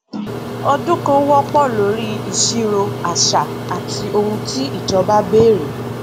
ọdún kan wọpọ lórí ìṣirò àṣà àti ohun tí ìjọba béèrè